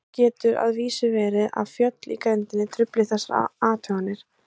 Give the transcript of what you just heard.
Nú getur að vísu verið að fjöll í grenndinni trufli þessar athuganir.